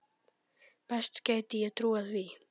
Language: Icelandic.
Best gæti ég trúað því.